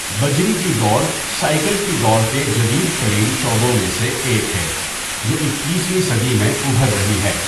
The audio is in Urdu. بجری کی دوڑ سائیکل کی دوڑ کے جدید ترین شعبوں میں سے ایک ہے، جو اکیس ویں صدی میں ابھر رہی ہے۔